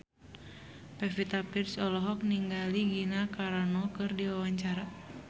Pevita Pearce olohok ningali Gina Carano keur diwawancara